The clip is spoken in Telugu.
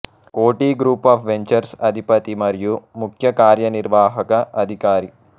కోటి గ్రూప్ ఆఫ్ వెంచర్స్ అధిపతి మరియు ముఖ్య కార్యనిర్వాహక అధికారి